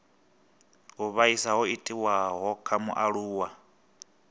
u vhaisa ho itiwaho kha mualuwa